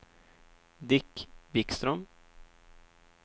Dick Vikström